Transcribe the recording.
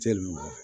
Cɛ lemɔgo